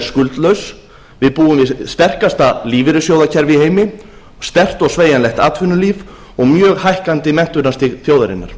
skuldlaus við búum við sterkasta lífeyrissjóðakerfi í heimi sterkt og sveigjanlegt atvinnulíf og mjög hækkandi menntunarstig þjóðarinnar